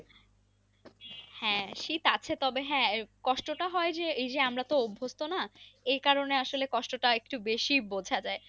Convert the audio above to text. হ্যাঁ শীত আছে তবে হ্যাঁ কষ্টটা হয় এই যে আমরা তো অভস্ত না এই কারণ এ আসল এ কষ্টটা একটু বেশি বোঝা যাই।